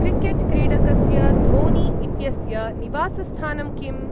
Cricket क्रीडकस्य धोनी इत्यस्य निवासस्थानं किम्?